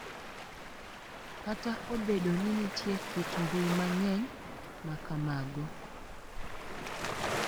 Kata obedo ni nitie kit mbui mang’eny ma kamago, .